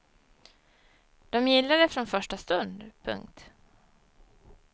De gillade det från första stund. punkt